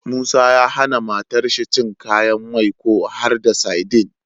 Musa ya hAna matar shi cin kayan mai ko har da sadin